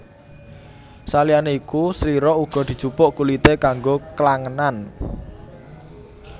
Saliyane iku slira uga dijupuk kulite kanggo klangenan